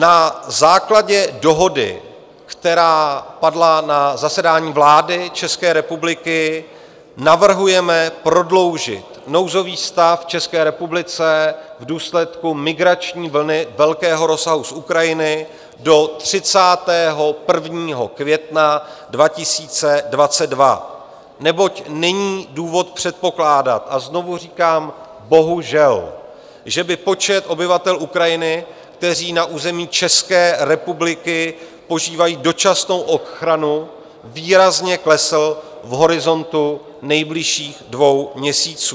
Na základě dohody, která padla na zasedání vlády České republiky, navrhujeme prodloužit nouzový stav v České republice v důsledku migrační vlny velkého rozsahu z Ukrajiny do 31. května 2022, neboť není důvod předpokládat, a znovu říkám bohužel, že by počet obyvatel Ukrajiny, kteří na území České republiky požívají dočasnou ochranu, výrazně klesl v horizontu nejbližších dvou měsíců.